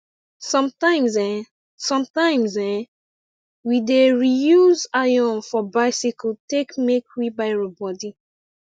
sometimes eh sometimes eh we dey reuse iron for biccyle take make wheelbarrow body